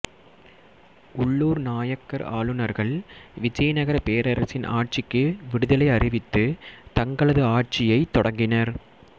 உள்ளூர் நாயக்கர் ஆளுநர்கள் விஜயநகரப் பேரரசின் ஆட்சிக்கு விடுதலை அறிவித்து தங்களது ஆட்சியைத் தொடங்கினர்